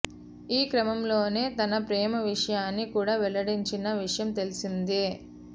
ఈ క్రమంలోనే తన ప్రేమ విషయాన్ని కూడా వెల్లడించిన విషయం తెలిసిందే